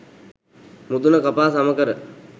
මුදුන කපා සම කර,